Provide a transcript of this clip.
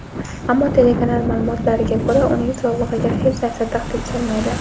ammo telekanal ma’lumotlariga ko‘ra uning sog‘lig‘iga hech narsa tahdid solmaydi.